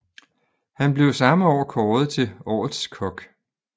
Han blev samme år kåret til Årets kok